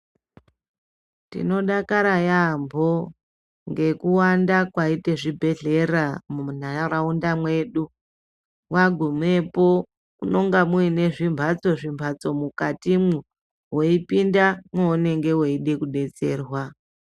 Tino dakara yambo ngeku wanda kwaite zvibhedhlera mu nharaunda mwedu wagumepo munonga muine zvimbatso zvi mbatso mukatimwo weipinda mwounenge weide kudetserwa.